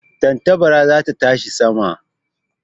Tantabara za ta tashi sama